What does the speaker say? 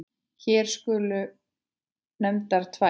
Hér skulu nefndar tvær.